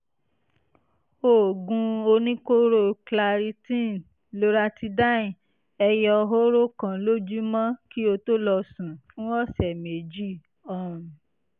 oògùn oníkóró claritine (loratidine) ẹyọ hóró kan lójúmọ́ kí o tó lọ sùn fún ọ̀sẹ̀ méjì um